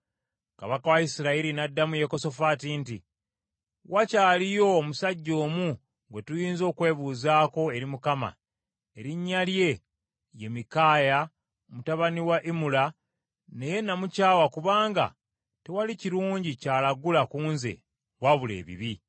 Kabaka wa Isirayiri n’addamu Yekosafaati nti, “Wakyaliyo omusajja omu gwe tuyinza okwebuuzaako eri Mukama erinnya lye ye Mikaaya mutabani wa Imula naye namukyawa kubanga tewali kirungi ky’alagula ku nze, wabula ebibi.”